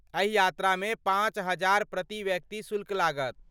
एहि यात्रामे पाँच हजार प्रति व्यक्ति शुल्क लागत।